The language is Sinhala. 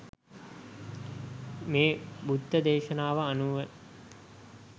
මේ බුද්ධ දේශනාවට අනුව